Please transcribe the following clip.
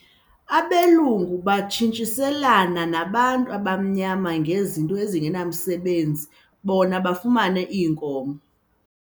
Abelungu babetshintshiselana nabantu abamnyama ngezinto ezingenamsebenzi bona bafumane iinkomo.